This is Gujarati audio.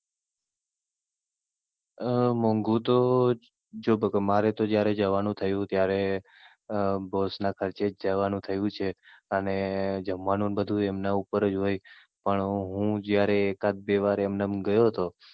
અમ મોઘું તો, જો બકા મારે તો જયારે જવાનું થયું હતું ત્યારે Boss ના ખર્ચે જ જવા નું થયું છે. અને જમવાનું બધું એમના ઉપર જ હોય પણ હું જયારે એકાદ બે વાર એમનેમ ગયો તો.